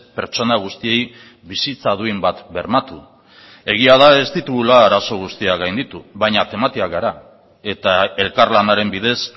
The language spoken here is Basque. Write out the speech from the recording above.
pertsona guztiei bizitza duin bat bermatu egia da ez ditugula arazo guztiak gainditu baina tematiak gara eta elkarlanaren bidez